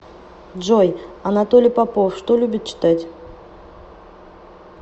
джой анатолий попов что любит читать